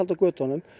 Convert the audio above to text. á götunum